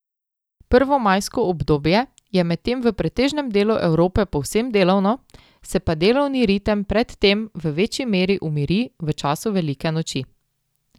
Prvomajsko obdobje je medtem v pretežnem delu Evrope povsem delovno, se pa delovni ritem pred tem v večji meri umiri v času velike noči.